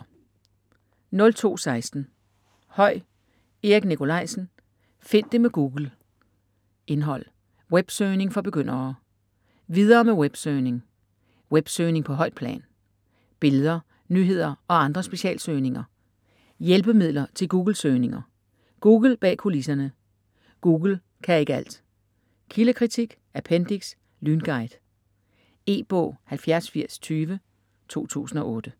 02.16 Høy, Erik Nicolaisen: Find det med Google Indhold: Websøgning for begyndere; Videre med websøgning; Websøgning på højt plan; Billeder, nyheder og andre specialsøgninger; Hjælpemidler til Googlesøgninger; Google bag kulisserne; Google kan ikke alt; Kildekritik; Appendiks: Lynguide. E-bog 708020 2008.